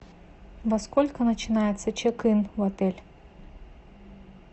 во сколько начинается чек ин в отель